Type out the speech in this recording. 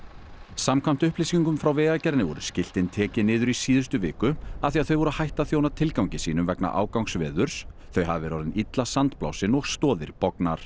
samkvæmt upplýsingum frá Vegagerðinni voru skiltin tekin niður í síðustu viku af því að þau voru hætt að þjóna tilgangi sínum vegna ágangs veðurs þau hafi verið orðin illa sandblásin og stoðir